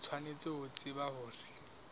o tshwanetse ho tseba hore